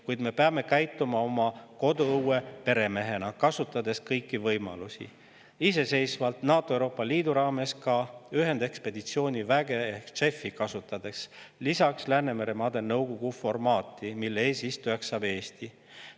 Kuid me peame käituma oma koduõue peremehena, kasutades kõiki võimalusi, iseseisvalt, NATO ja Euroopa Liidu raames, ka ühendekspeditsiooniväge ehk JEF‑i, lisaks Läänemeremaade Nõukogu, mille eesistujaks saab Eesti.